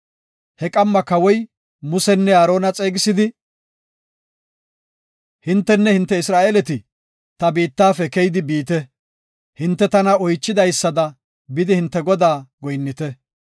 He qamma kawoy Musenne Aarona xeegisidi, “Hintenne hinte Isra7eeleti ta biittafe keyidi biite. Hinte tana oychidaysada bidi hinte Godaa goyinnite.